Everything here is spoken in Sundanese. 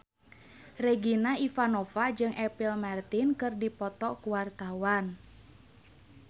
Regina Ivanova jeung Apple Martin keur dipoto ku wartawan